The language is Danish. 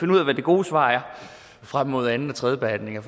hvad det gode svar er frem mod anden og tredjebehandlingen